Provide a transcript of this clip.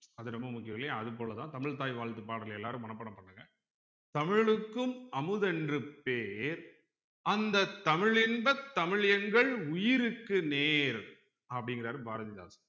அது ரொம்ப முக்கியம் இல்லையா அது போலதான் தமிழ்த்தாய் வாழ்த்து பாடலை எல்லாரும் மனப்பாடம் பண்ணுங்க தமிழுக்கும் அமுதென்று பேர் அந்த தமிழின்ப தமிழ் எங்கள் உயிருக்கு நேர் அப்படிங்கிறாரு பாரதிதாசன்